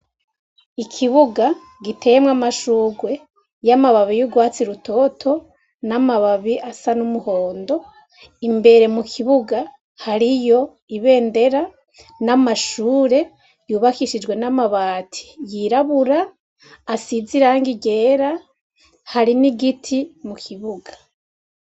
Ikibuga giteyemwo amashugwe y'amababi y'urwatsi rutoto n'amababi asa n'umuhondo imbere mu kibuga hariyo ibendera n'amashure yubakishijwe n'amabati yirabura asize irang i ryera hari n'igiti mu kibuga.